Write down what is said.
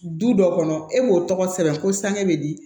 Du dɔ kɔnɔ e b'o tɔgɔ sɛbɛn ko sang bɛ di